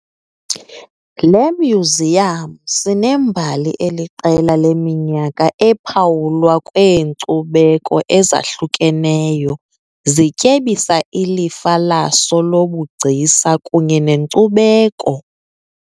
Le myuziyam sinembali eliqela leminyaka ephawulwa kweenkcubeko ezahlukeneyo zityebisa ilifa laso lobugcisa kunye nenkcubeko.